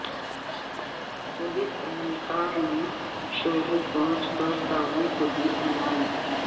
police اہلکار نے showroom پہنچ کر تاجر کو دی دھمکی